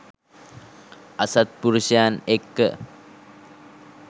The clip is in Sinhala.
අසත්පුරුෂයන් එක්ක